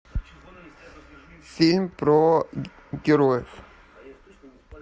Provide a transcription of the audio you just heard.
фильм про героев